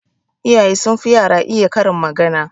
Iyaye sun fi yara iya karin magana